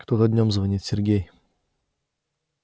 кто-то днём звонит сергей